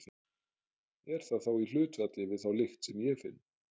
Er það þá í hlutfalli við þá lykt sem ég finn?